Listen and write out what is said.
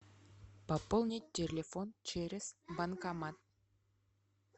пополнить телефон через банкомат